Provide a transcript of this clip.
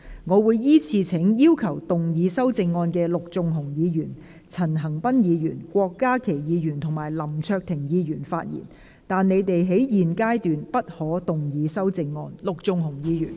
我會依次請要動議修正案的陸頌雄議員、陳恒鑌議員、郭家麒議員及林卓廷議員發言，但他們在現階段不可動議修正案。